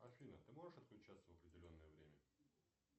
афина ты можешь отключаться в определенное время